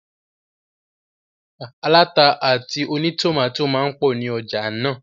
Aláta àti ònítòmátò máa n pọ̀ ní ọjà náà